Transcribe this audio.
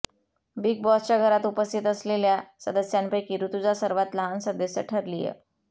big बॉसच्या घरात उपस्थित असलेल्या सदस्यांपैंकी ऋतुजा सर्वात लहान सदस्य ठरलीय